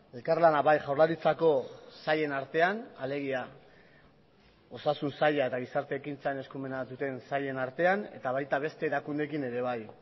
elkarlana bai jaurlaritzako sailen artean alegia osasun saila eta gizarte ekintzan eskumena duten sailen artean eta baita beste erakundeekin ere bai